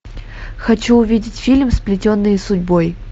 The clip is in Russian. хочу увидеть фильм сплетенные судьбой